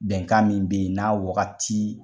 Bɛnkan min be yen n'a wagati